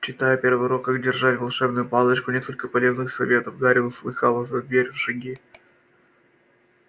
читая первый урок как держать волшебную палочку несколько полезных советов гарри услыхал за дверью шаги